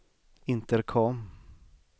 intercom